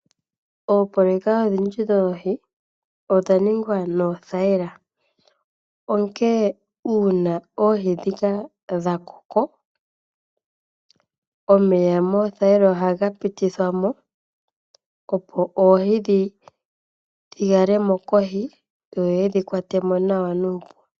Oopololeka odhindji dhoohi odha ningwa noothayila. Onkene uuna oohi ndhika dhakoko omeya moothayila ohaga pitithwa mo opo oohi dhikalemo kohi dho yedhi kwatemo nawa nuupu.